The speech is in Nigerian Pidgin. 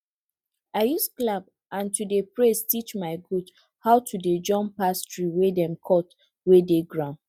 i use clap and to dey praise teach my goat how to dey jump pass tree wey dem cut wey dey ground